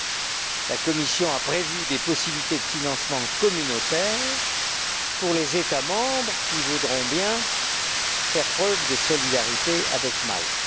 Elle a prévu des possibilités de financement communautaire pour les États membres qui voudront bien faire preuve de solidarité avec Malte.